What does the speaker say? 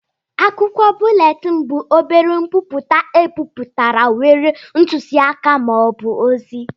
Akwụkwọ búlétin bụ obere nkwupụta ebipụtara nwere ntuziaka ma ọ bụ ozi